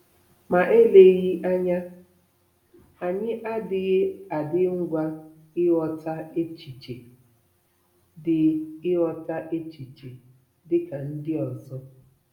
Ma eleghị anya, anyị adịghị adị ngwa ịghọta echiche dị ịghọta echiche dị ka ndị ọzọ.